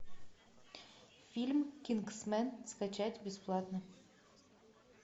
фильм кингсмен скачать бесплатно